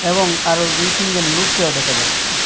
এবং আরও দুই তিনজন লুককেও দেখা যাচ্ছে।